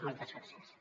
moltes gràcies